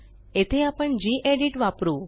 येथे आपण गेडीत वापरू